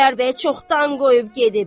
Xudayar bəyi çoxdan qoyub gedib.